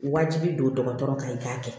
Wajibi don dɔgɔtɔrɔ kan i k'a kɛ